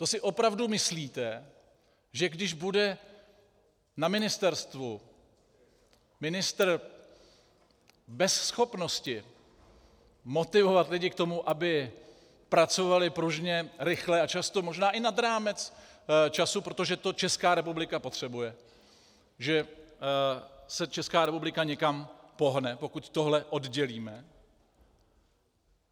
To si opravdu myslíte, že když bude na ministerstvu ministr bez schopnosti motivovat lidi k tomu, aby pracovali pružně, rychle a často možná i nad rámec času, protože to Česká republika potřebuje, že se Česká republika někam pohne, pokud tohle oddělíme?